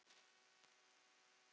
Sjáumst síðar, kæri bróðir.